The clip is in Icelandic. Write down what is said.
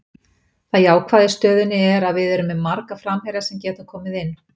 Það jákvæða í stöðunni er að við erum með marga framherja sem geta komið inn.